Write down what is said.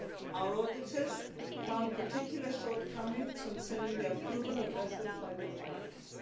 Our auditors found particular shortcomings concerning the approval of vessels by the authorities.